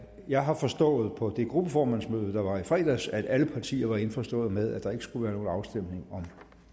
jeg har forstået på det gruppeformandsmøde der var i fredags at alle partier er indforstået med at der ikke skal være nogen afstemning om